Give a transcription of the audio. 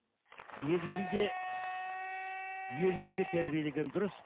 негізінде ерлікке тәрбиелеген дұрыс